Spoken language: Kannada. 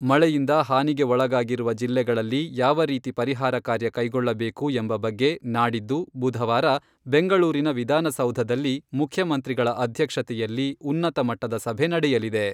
ಮಳೆಯಿಂದ ಹಾನಿಗೆ ಒಳಗಾಗಿರುವ ಜಿಲ್ಲೆಗಳಲ್ಲಿ ಯಾವ ರೀತಿ ಪರಿಹಾರ ಕಾರ್ಯ ಕೈಗೊಳ್ಳಬೇಕು ಎಂಬ ಬಗ್ಗೆ ನಾಡಿದ್ದು, ಬುಧವಾರ ಬೆಂಗಳೂರಿನ ವಿಧಾನಸೌಧದಲ್ಲಿ ಮುಖ್ಯಮಂತ್ರಿಗಳ ಅಧ್ಯಕ್ಷತೆಯಲ್ಲಿ ಉನ್ನತ ಮಟ್ಟದ ಸಭೆ ನಡೆಯಲಿದೆ.